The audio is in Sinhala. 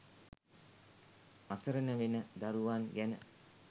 අසරණ වෙන දරුවන් ගැන